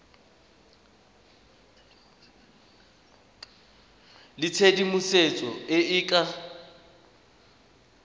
le tshedimosetso e e ka